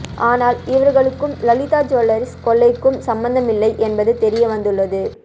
ஆனால் இவர்களுக்கும் லலிதா ஜூவல்லர்ஸ் கொள்ளைக்கும் சம்பந்தம் இல்லை என்பது தெரிய வந்துள்ளது